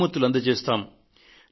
బహుమతులు అందజేస్తాము